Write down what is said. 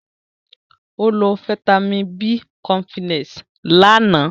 Ó lo fáítámì B cọmpílẹ̀s ni àná